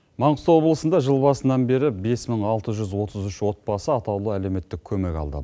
маңғыстау облысында жыл басынан бері бес мың алты жүз отыз үш отбасы атаулы әлеуметтік көмек алды